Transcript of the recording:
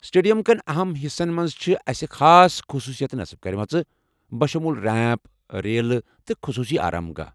Stadium کٮ۪ن اَہَم حِصن مَنٛز چھِ اسہِ خاص خصوٗصیتہٕ نصب کٔرمٕژ، بشمول ریمپ، ریلہٕ، تہٕ خٔصوٗصی آرام گاہ ۔